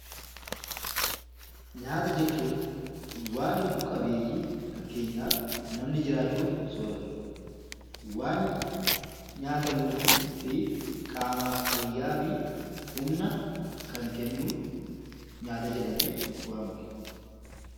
Nyaata jechuun waan lubbu qabeeyyiin fakkeenyaaf namni jiraachuuf sooratu dha. Waan nyaatamuu fi qaamaaf fayyaa fi humna kan kennu 'Nyaata' jedhamee waamama.